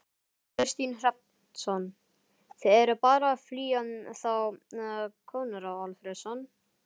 Kristinn Hrafnsson: Þið eruð bara að flýja þá Konráð Alfreðsson?